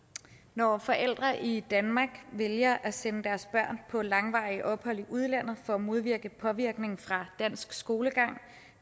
når forældre i danmark vælger at sende deres børn på langvarige ophold i udlandet for at modvirke en påvirkning fra dansk skolegang